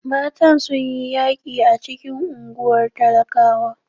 Matan sun yi yaƙi a cikin unguwar talakawa.